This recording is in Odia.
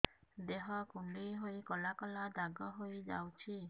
ଦେହ କୁଣ୍ଡେଇ ହେଇ କଳା କଳା ଦାଗ ହେଇଯାଉଛି